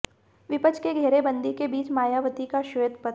विपक्ष की घेरेबंदी के बीच मायावती का श्वेत पत्र